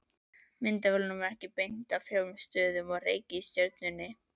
Myndavélunum er beint að fjórum stöðum á reikistjörnunni.